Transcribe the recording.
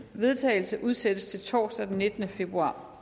vedtagelse udsættes til torsdag den nittende februar